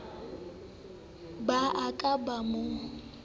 ba a ka ba mo